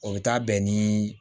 O bɛ taa bɛn ni